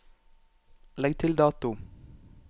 Legg til dato